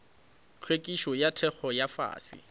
hlwekišo ya theko ya fase